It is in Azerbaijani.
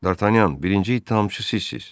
Dartanyan, birinci ittihamçı sizsiz.